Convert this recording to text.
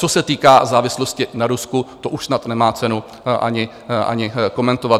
Co se týká závislosti na Rusku, to už snad nemá cenu ani komentovat.